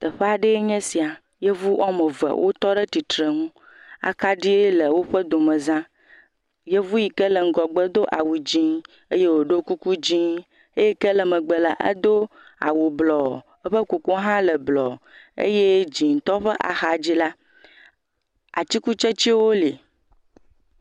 Teƒea ɖee nye sia. Yevu woame ve wo tɔɖe tsitreŋu. Akaɖi le woƒe domezã. Yevu yi ke le ŋgɔgbe do awu dzẽ eye wòɖo kuku dzĩ. Eyi ke le megbe la edo awu blɔ. Eƒe kukua hã le blɔ. Eye dzĩtɔ ƒe axa dzi la atsikutsetsewo le.